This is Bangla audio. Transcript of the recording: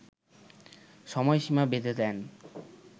সময়সীমা বেঁধে দেন